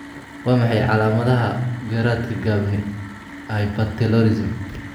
Waa maxay calaamadaha iyo calaamadaha garaadka gaabni hypertelorism?